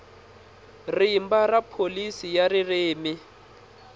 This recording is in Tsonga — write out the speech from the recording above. rimba ra pholisi ya ririmi